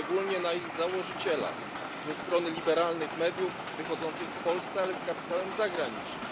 Szczególnie na ich założyciela ze strony liberalnych mediów wychodzących w Polsce, ale z kapitałem zagranicznym.